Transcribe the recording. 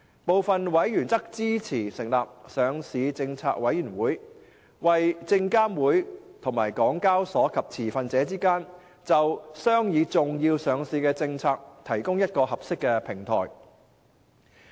部分委員則支持成立上市政策委員會，為證監會、港交所及持份者之間就商議重要上市政策，提供一個合適的平台。